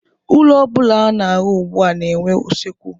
Ụlọ ọbụla a na-arụ ugbụ a na-enwe usekwu.